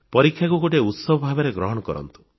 ପରୀକ୍ଷାକୁ ଗୋଟିଏ ଉତ୍ସବ ଭାବରେ ଗ୍ରହଣ କରନ୍ତୁ